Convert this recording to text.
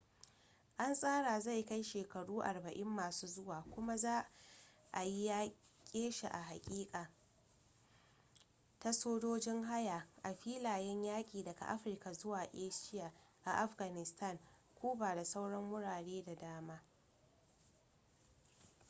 an tsara zai kai shekaru 40 masu zuwa kuma za ayi yaƙe shi a hakika, ta sojojin haya a filayen yaƙi daga africa zuwa asia a afghanistan cuba da sauran wurare da dama